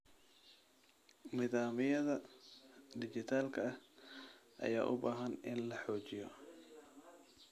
Nidaamyada dhijitaalka ah ayaa u baahan in la xoojiyo.